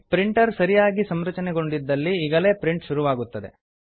printer ಸರಿಯಾಗಿ ಸಂರಚನೆಗೊಂಡಿದ್ದಲ್ಲಿ ಈಗಲೇ ಪ್ರಿಂಟ್ ಶುರುವಾಗುತ್ತದೆ